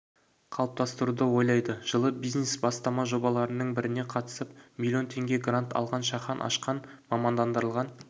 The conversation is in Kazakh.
қалыптастыруды ойлайды жылы бизнес бастама жобаларының біріне қатысып млн теңге грант алған шахан ашқан мамандандырылған